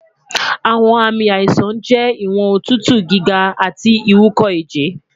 awọn aami aisan jẹ iwọn otutu giga ati iwúkọẹjẹ